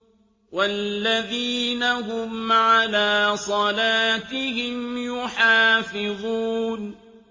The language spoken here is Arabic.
وَالَّذِينَ هُمْ عَلَىٰ صَلَاتِهِمْ يُحَافِظُونَ